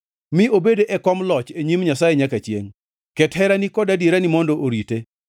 Mi obed e kom loch e nyim Nyasaye nyaka chiengʼ; ket herani kod adierani mondo orite.